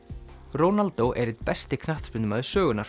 Ronaldo er einn besti knattspyrnumaður sögunnar